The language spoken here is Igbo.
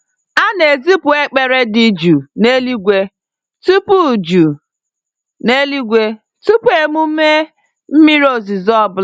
A na-ezipụ ekpere dị jụụ n'eluigwe tupu jụụ n'eluigwe tupu emume mmiri ozuzo ọ bụla.